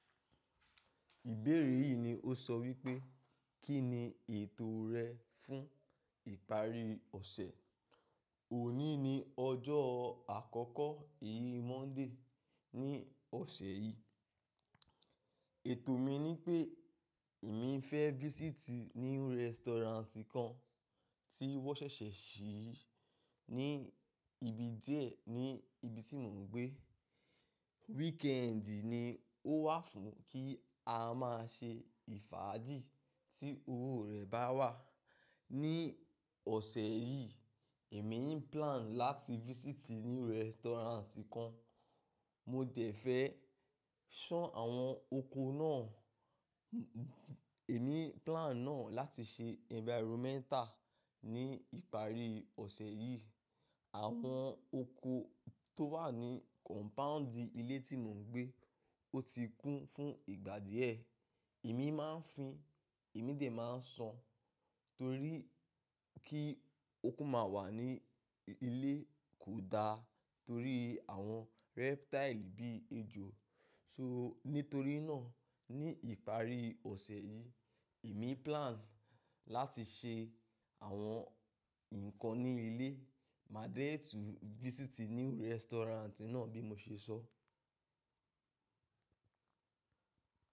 Ìbéèrè yìí ni ó sọ wípé, kí ni ètò rẹ fún ìparí ọ̀sẹ̀? Òní ni ọjọ́ àkọ́kọ́ èyí Monday ní ọ̀sẹ̀ yìí. Ètò mi ni pé èmi fẹ́ visiti new restaurant kan tí wọ́n ṣẹ̀ṣẹ̀ ṣí ní ibi díẹ̀ ní ibi tí mò ń gbé. Weekend ni ó wà fún kí a má ṣe fàájì tí owó rẹ̀ bá wà. Ní ọ̀sẹ̀ yìí, èmi n plan láti visiti new restaurant kan. Mo dẹ̀ fẹ́ ṣán àwọn oko náà. Èmi plan náà láti ṣe environmental ní ìparí ọ̀sẹ̀ yìí. Àwọn oko tó wà ní compound ilé tí mò ń gbé, ó ti kún fún ìgbà díẹ̀. Èmi máa ń fín, èmi dẹ̀ máa ń ṣan torí kí oko má wà ní ilé kò da torí àwọn reptile bí ejò. So nítorí náà ní ìparí ọ̀sẹ̀ yìí, èmi plan láti ṣe àwọn ǹkan ní ilé máa dẹ̀ tún visiti new restaurant náà bí mo ṣe sọ.